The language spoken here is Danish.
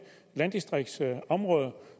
landdistrikter